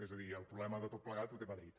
és a dir el problema de tot plegat és de madrid